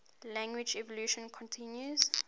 language evolution continues